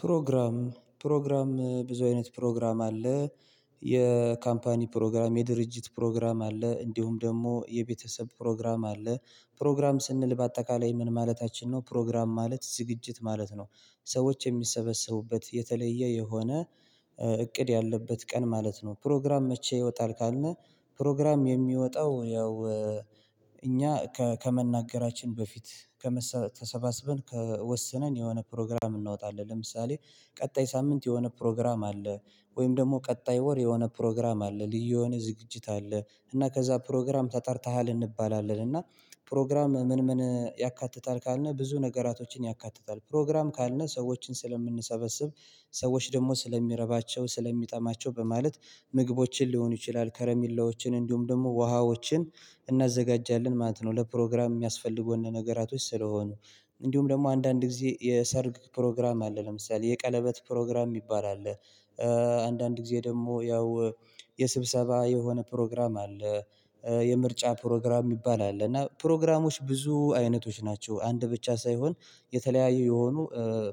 ፕሮግራም ፕሮግራም ብዙ አይነት ፕሮግራም አለ የካምፓኒ ፕሮግራም የድርጅት ፕሮግራም አለ እንዲሁም ደግሞ የቤተሰብ ፕሮግራም አለ። ፕሮግራም ስንል በአጠቃላይ ምን ማለታችን ነው? ፕሮግራም ማለት ዝግጅት ማለት ነው። ሰዎች የሚሰበሰቡበት የተለየ የሆነ እቅድ ያለበት ቀን ማለት ነው። ፕሮግራም መቼ ይወጣል ካልነ? ፕሮግራም የሚወጣው ያው እኛ ከመናገራችን በፊት ከመሰ ተሰባሰብን ከወሰነን የሆነ ፕሮግራም እናወጣለን። ለምሳሌ ቀጣይ ሳምንት የሆነ ፕሮግራም አለ። ወይም ደግሞ ቀጣይ ወር የሆነ ፕሮግራም አለ። ልዩ የሆነ ዝግጅት አለ እና ከዛ ፕሮግራም ተጠርተሃል እንባላለን። እና ፕሮግራም ምን ምን ያካትታል ካልነው ብዙ ነገራቶችን ያካትታል። ፕሮግራም ካልነው ሰዎችን ስለምንሰበስብ ሰዎች ደግሞ ስለሚረባቸው ስለሚጠማቸው በማለት ምግቦችን ሊሆኑ ይችላል ከረሜላዎችን እንዲሁም ደግሞ ውሃዎችን እናዘጋጃለን ማለት ነው። ለፕሮግራም የሚያስፈልጉ ነገራቶች ስለሆኑ። እንዲሁም ደግሞ አንዳንድ ጊዜ የሰርግ ፕሮግራም አለ ለምሳሌ የቀለበት ፕሮግራም የሚባል አለ። አንዳንድ ጊዜ ደግሞ ያው የስብሰባ የሆነ ፕሮግራም አለ። የምርጫ ፕሮግራም የሚባል አለ እና ፕሮግራሞች ብዙ አይነቶች ናቸው አንድ ብቻ ሳይሆን የተለያዩ የሆኑ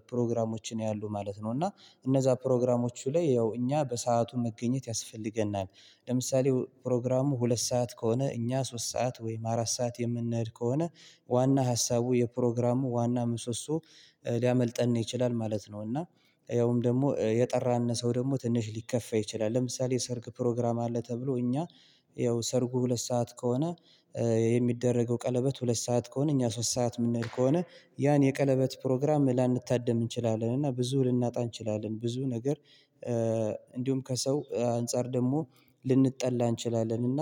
ፕሮግራሞች ነው ያሉት ማለት ነው። እና እነዛ ፕሮግራሞቹ ላይ ያው እኛ በሰአቱ መገኘት ያስፈልገናል። ለምሳሌ ፕሮግራሙ ሁለት ሰዓት ከሆነ እኛ ሶስት ሰዓት ወይም አራት ሰዓት የምንሄድ ከሆነ ዋና ሀሳቡ የፕሮግራሙ ዋና ምሶሶ ሊያመልጠን ይችላል ማለት ነው። እና ሰውም ደግሞ የጠራን ሰው ደግሞ ትንሽ ሊከፋ ይችላል። ለምሳሌ የሰርግ ፕሮግራም አለ። ተብሎ እኛ ያው ሰርጉ ሁለት ሰዓት ከሆነ የሚደረገው ቀለበት ሁለት ሰዓት ከሆነ እኛ ሶስት ሰዓት የምንሄድ ከሆነ ያን የቀለበት ፕሮግራም ላንታደም እንችላለን እና ብዙ ልናጣ እንችላለን ብዙ ነገር። እንዲሁም ከሰው አንፃር ደግሞ ልንጠላ እንችላለን። እና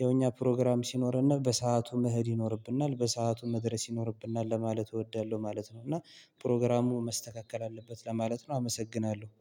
የእኛ ፕሮግራም ሲኖርና በሰአቱ መሄድ ይኖርብናል በሰአቱ መድረስ ይኖርብናል ለማለት እወዳለሁ ማለት ነው። እና ፕሮግራሙ መስተካከል አለበት ለማለት ነው። አመሰግናለሁ